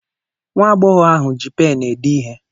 Nwa agbọghọ ahụ ji pen ede ihe.